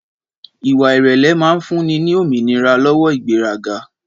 Ìwà ìrèlè máa ń fúnni ní òmìnira lọ́wọ́ ìgbéraga